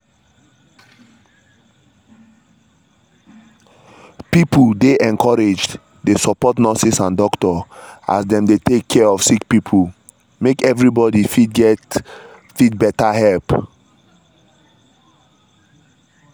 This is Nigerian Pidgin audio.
pipo dey encouraged dey support nurses and doctors as dem dey take care of sick people make every body fit get fit get better help.